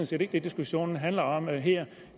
set ikke det diskussionen handler om her